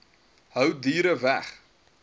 hou diere weg